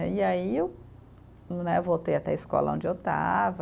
E aí eu, né, voltei até a escola onde eu estava,